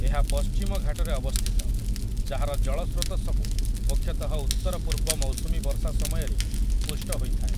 ଏହା ପଶ୍ଚିମ ଘାଟରେ ଅବସ୍ଥିତ, ଯାହାର ଜଳ ସ୍ରୋତ ସବୁ ମୁଖ୍ୟତଃ ଉତ୍ତରପୂର୍ବ ମୌସୁମୀ ବର୍ଷା ସମୟରେ ପୁଷ୍ଟ ହୋଇଥାଏ ।